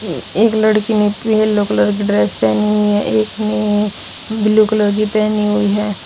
एक लड़की ने येलो कलर की ड्रेस पहनी हुई है एक ने ब्लू कलर की पहनी हुई है।